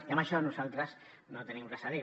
i a això nosaltres no tenim res a dir hi